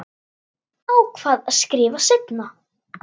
Ákvað að skrifa seinna.